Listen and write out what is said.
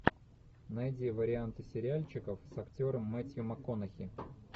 найди варианты сериальчиков с актером метью макконахи